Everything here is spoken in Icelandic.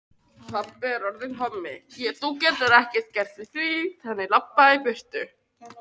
Ár, vötn og sjór er blátt, jökulvatn þó grænt.